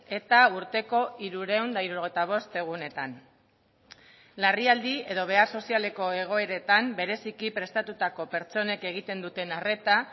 eta urteko hirurehun eta hirurogeita bost egunetan larrialdi edo behar sozialeko egoeretan bereziki prestatutako pertsonek egiten duten arreta